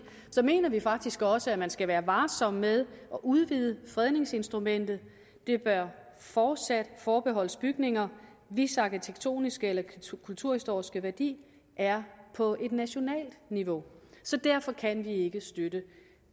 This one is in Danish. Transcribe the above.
mener vi faktisk også at man skal være varsom med at udvide fredningsinstrumentet det bør fortsat forbeholdes bygninger hvis arkitektoniske eller kulturhistoriske værdi er på et nationalt niveau derfor kan vi ikke støtte